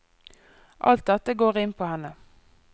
Alt dette går inn på henne.